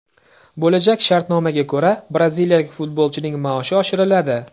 Bo‘lajak shartnomaga ko‘ra, braziliyalik futbolchining maoshi oshiriladi.